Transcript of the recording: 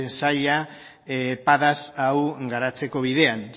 sailak padas hau garatzeko bidean